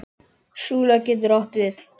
Súla getur átt við